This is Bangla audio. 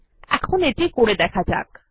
এখন এটি করে দেখা যাক